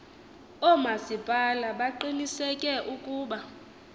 oomasipala baqiniseke ukuba